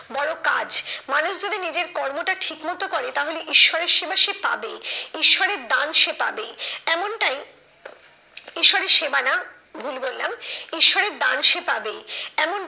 বড় কাজ মানুষ যদি নিজের কর্মটা ঠিক মতো করে তাহলে ঈশ্বরের সেবা সে পাবেই। ঈশ্বরের দান সে পাবেই এমনটাই ঈশ্বরের সেবা না ভুল বললাম ঈশ্বরের দান সে পাবেই এমনটা